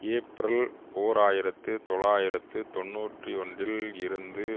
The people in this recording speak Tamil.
ஏப்பிரல் ஓர் ஆயிரத்து தொள்ளாயிரத்து தொன்னூற்றி ஒன்றில் இருந்து